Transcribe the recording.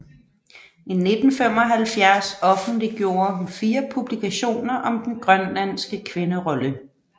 I 1975 offentliggjorde hun fire publikationer om den grønlandske kvinderolle